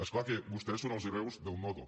és clar que vostès són els hereus del nodo